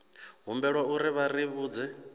humbelwa uri vha ri vhudze